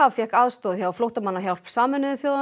fékk aðstoð hjá Flóttamannahjálp Sameinuðu þjóðanna